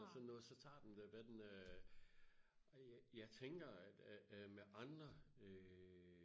eller sådan noget så tager den hvad den øh ja tænker øh med andre øh